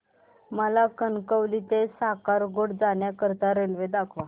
मला कणकवली ते कासारगोड जाण्या करीता रेल्वे दाखवा